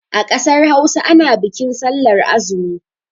A ƙasar Hausa ana bikin sallar azumi.